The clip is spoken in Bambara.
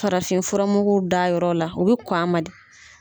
Farafin furamuguw da a yɔrɔ la. U bi kɔn a ma de.